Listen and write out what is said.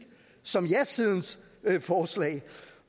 som jasidens forslag